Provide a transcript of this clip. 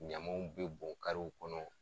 Ɲamaw be bɔn karew kɔnɔ